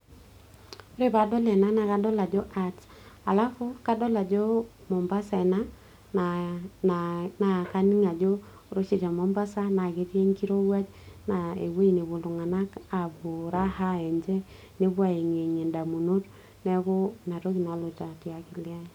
ore paadol ena naa kadol ajo art alafu kadol ajo mombasa ena naa kaning ajo ore oshi te mombasa naa ketii enkirowuaj naa ewueji nepuo iltung'anak apuo raha enje nepuo ayeng'iyeng'ie indamunot neeku inatoki nalotu akili ai.